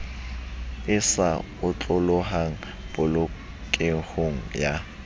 e sa otlolohang polokehong ya